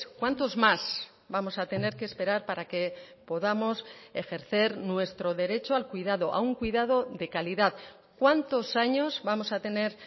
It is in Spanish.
cuántos más vamos a tener que esperar para que podamos ejercer nuestro derecho al cuidado a un cuidado de calidad cuántos años vamos a tener